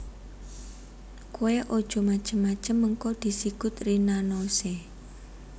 Kowe ojo macem macem mengko disikut Rina Nose